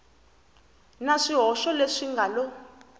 na swihoxo leswi nga lo